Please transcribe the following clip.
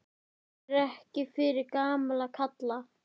Ég er fyrir gamla kalla.